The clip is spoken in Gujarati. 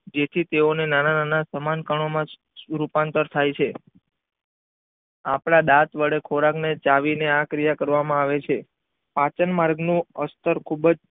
જેથી તેઓ ને નાના નાના સમાન કણો માં જ રૂપાંતર થાઈ છે આપણા દાંત વડે ખોરાક ને ચાવી ને આ ક્રિયા કરવામાં આવે છે આપન માર્ગ નો અસ્તર ખુબ જ